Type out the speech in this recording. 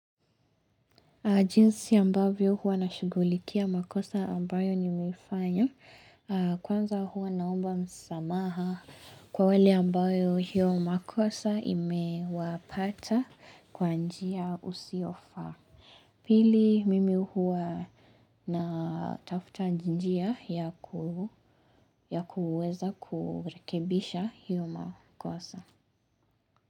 Jinsi ambavyo huwa nashugulikia makosa ambayo nimeifanya kwanza huwa naomba msamaha kwa wale ambao hiyo makosa imewapata kwa njia usiofaa. Pili mimi huwa na tafuta njia ya kuweza kurekebisha hiyo makosa.